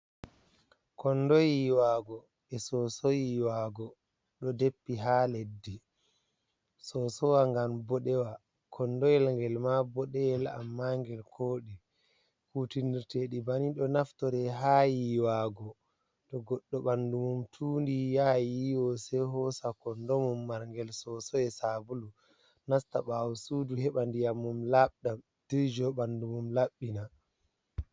Kondo yiiwaago, e sooso yiiwaago, ɗo deppi haa leddi, soosowa ngan boɗewa, kondoyel ngel maa boɗeyel, ammaa ngel kooɗi. Kuutinirteeɗi bananii ɗo naftore ha yiiwaago to goɗɗo ɓandu mum tuundi, yaha yiiwo, sei hoosa kondo mum, marngel sooso, e saabulu, nasta ɓaawo suudu, heɓa ndiyam mum laabɗam, dirjo ɓandu mum, laɓɓina.